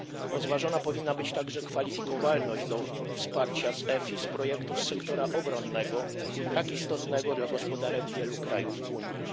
Rozważona powinna być także kwalifikowalność do wsparcia EFIS projektów z sektora obronnego, tak istotnego dla gospodarek wielu krajów Unii.